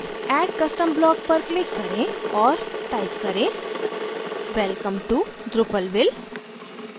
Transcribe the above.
add custom block पर click करें और टाइप करें welcome to drupalville